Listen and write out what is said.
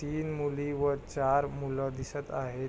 तीन मुली व चार मूल दिसत आहेत.